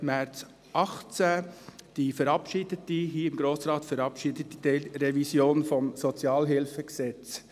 Ich spreche dabei vom 29. März 2018 und von der hier im Grossen Rat verabschiedeten Teilrevision des SHG.